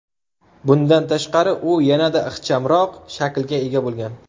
Bundan tashqari, u yanada ixchamroq shaklga ega bo‘lgan.